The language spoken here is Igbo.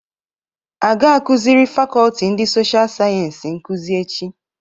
A ga akuzịri Fakọlti ndị Sosha Sayensi nkuzi echi.